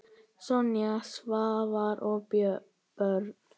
Sonja, Svavar og börn.